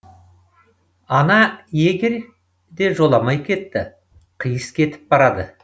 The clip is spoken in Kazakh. ана егерь де жоламай кетті қиыс кетіп барады